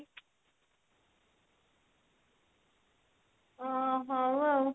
ଓ ହଉ ଆଉ